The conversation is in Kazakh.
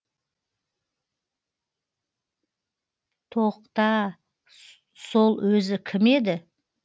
тоқ та сол өзі кім еді